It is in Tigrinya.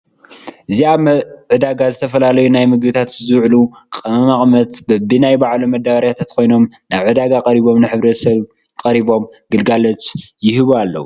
እዚ አብ ዕዳጋ ዝተፋላለዩ ናይ ምግብታቲ ዝውሉ ቀመማቸትን በቢ ናይ ባሎም መዳበርያታት ኮይኖም ናብ ዕዳ ቀርቦም ንሕ/ሰብ ቀርቦም ግልጋሎት የህቡ አለው።